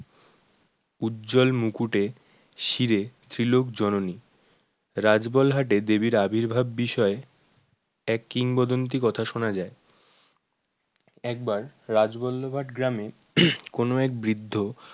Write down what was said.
উজ্জ্বল মুকুটে শিরে ত্রিলোক জননী রাজবলহাট এ দেবীর আবির্ভাব বিষয়ে এক কিংবদন্তি কথা শোনা যায় একবার রাজবল্লভাট গ্রামে কোন এক বৃদ্ধ